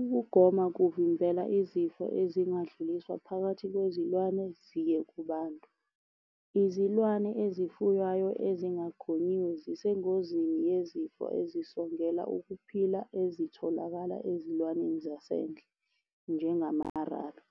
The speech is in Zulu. Ukugoma kuvimbela izifo ezingadluliswa phakathi kwezilwane, ziye kubantu. Izilwane ezifuywayo ezingagonyiwe zisengozini yezifo ezisongela ukuphila ezitholakala ezilwaneni zasendle, njengamarabi.